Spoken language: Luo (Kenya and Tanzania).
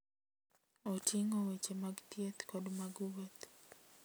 Oting'o weche mag thieth kod mag wuoth.